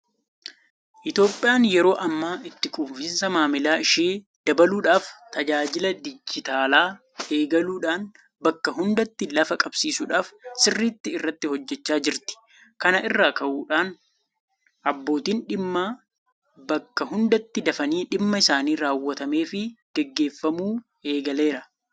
Itoophiyaan yeroo ammaa itti quufinsa maamila ishee dabaluudhaaf tajaajila dijitaalaa eegaluudhaan bakka hundatti lafa qabsiisuudhaaf sirriitti irratti hojjechaa jirti. Kana irraa ka'uudhaan abbootiin dhimmaa bakka hundatti dafanii dhimma isaanii raawwatameefii gaggeeffamuu eegaleera.